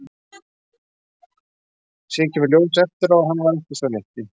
Síðan kemur í ljós eftir á að hann var ekki sá rétti.